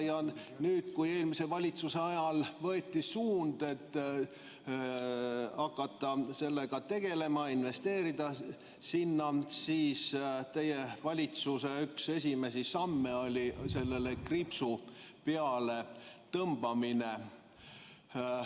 Ja nüüd, kui eelmise valitsuse ajal võeti suund hakata sellega tegelema, investeerida sellesse, siis teie valitsuse üks esimesi samme oli sellele kriips peale tõmmata.